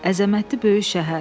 Əzəmətli böyük şəhər.